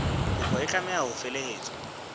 kopo e tlameha ho felehetswa